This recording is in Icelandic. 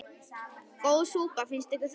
Góð súpa, finnst ykkur það ekki?